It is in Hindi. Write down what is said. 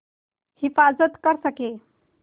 हिफ़ाज़त कर सकें